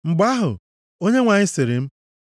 Mgbe ahụ, Onyenwe anyị sịrị m,